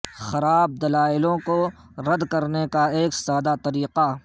خراب دلائلوں کو رد کرنے کا ایک سادہ طریقہ